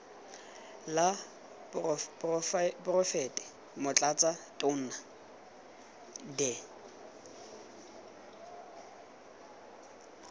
la poraefete motlatsa tona de